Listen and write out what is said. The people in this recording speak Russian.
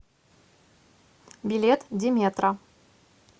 билет деметра